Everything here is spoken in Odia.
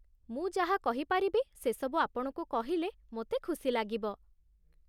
ମୁଁ ଯାହା କହିପାରିବି ସେସବୁ ଆପଣଙ୍କୁ କହିଲେ ମୋତେ ଖୁସି ଲାଗିବ ।